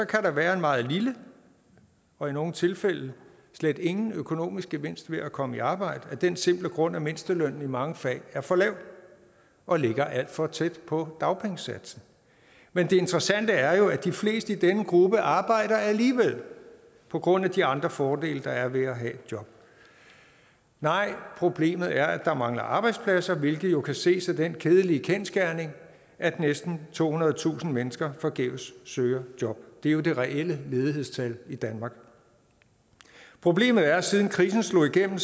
kan der være en meget lille og i nogle tilfælde slet ingen økonomisk gevinst ved at komme i arbejde af den simple grund at mindstelønnen i mange fag er for lav og ligger alt for tæt på dagpengesatsen men det interessante er jo at de fleste i denne gruppe arbejder alligevel på grund af de andre fordele der er ved at have et job nej problemet er at der mangler arbejdspladser hvilket jo kan ses af den kedelige kendsgerning at næsten tohundredetusind mennesker forgæves søger job det er det reelle ledighedstal i danmark problemet er at siden krisen slog igennem